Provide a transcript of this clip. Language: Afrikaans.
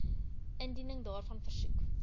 indiening daarvan versoek